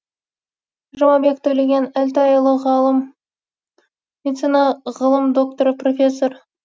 жұмабеков төлеген әлтайұлы ғалым медицина ғылым докторы профессор